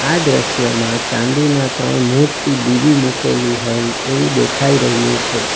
આ દ્રશ્યમાં ચાંદીના ત્રણ મોટી દિવી મૂકેલી હોય એવું દેખાય રહ્યું છે.